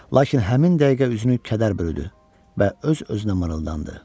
Lakin həmin dəqiqə üzünü kədər bürüdü və öz-özünə mırıldandı: